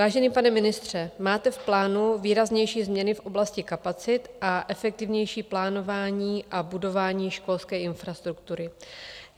Vážený pane ministře, máte v plánu výraznější změny v oblasti kapacit a efektivnější plánování a budování školské infrastruktury.